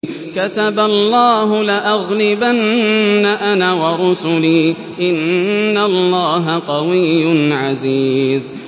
كَتَبَ اللَّهُ لَأَغْلِبَنَّ أَنَا وَرُسُلِي ۚ إِنَّ اللَّهَ قَوِيٌّ عَزِيزٌ